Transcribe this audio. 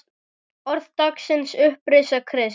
Orð dagsins Upprisa Krists